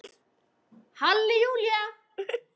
Halli Júlía!